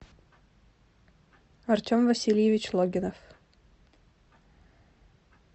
артем васильевич логинов